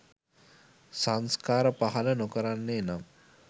සංස්කාර පහළ නොකරන්නේ නම්